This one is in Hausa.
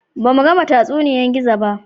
Ba mu gama tatsuniyan Gizo ba